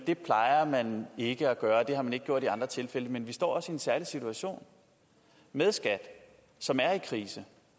det plejer man ikke at gøre og at det har man ikke gjort i andre tilfælde men vi står også i en særlig situation med skat som er i krise